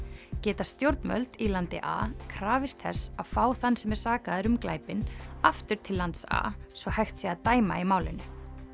geta stjórnvöld í landi a krafist þess að fá þann sem er sakaður um glæpinn aftur til lands a svo hægt sé að dæma í málinu